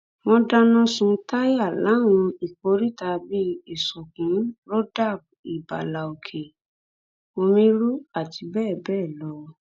wọn dáná sun táyà láwọn ìkóríta bíi ìsọkun ibala òkè omiru àti bẹẹ bẹẹ lọ